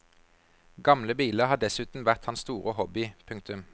Gamle biler har dessuten vært hans store hobby. punktum